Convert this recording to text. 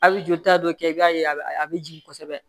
A bɛ jolita dɔ kɛ i b'a ye a bɛ a bɛ jigin kosɛbɛ